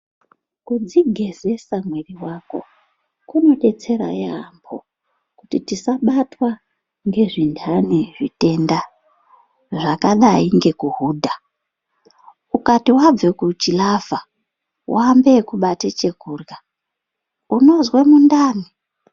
Kudzigezesa mwiri wako kunobetsera yaamho kuti tisabatwe ngezvindani zvitenda zvakadai nekuhudha ukati wabva kuchilavha woambe ekubaata chekudya unonzwe mundani .